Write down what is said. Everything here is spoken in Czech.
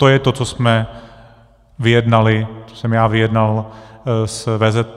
To je to, co jsme vyjednali, co jsem já vyjednal s VZP.